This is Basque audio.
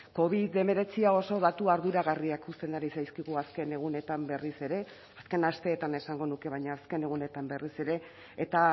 covid hemeretzia oso datu arduragarriak uzten ari zaizkigu azken egunetan berriz ere azken asteetan esango nuke baina azken egunetan berriz ere eta